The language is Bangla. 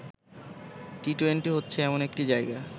টি-টোয়েন্টি হচ্ছে এমন একটি জায়গা